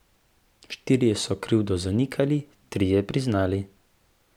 Štirje so krivdo zanikali, trije priznali.